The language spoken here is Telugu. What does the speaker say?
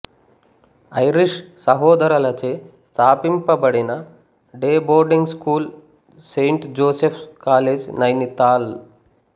ఐరిష్ సహోదరలచే స్థాపింపబడిన day boarding school saint Joseph's college Nainital